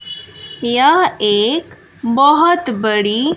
यह एक बहोत बड़ी--